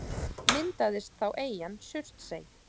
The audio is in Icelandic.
Myndaðist þá eyjan Surtsey.